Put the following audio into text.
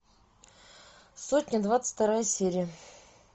сотня двадцать вторая серия